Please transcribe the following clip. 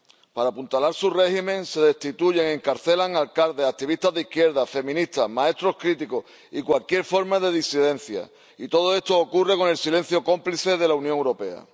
Para apuntalar su régimen se destituye y encarcela a alcaldes, activistas de izquierdas, feministas, maestros críticos y cualquier forma de disidencia. Y todo esto ocurre con el silencio cómplice de la Unión Europea.